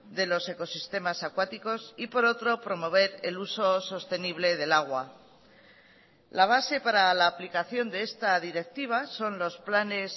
de los ecosistemas acuáticos y por otro promover el uso sostenible del agua la base para la aplicación de esta directiva son los planes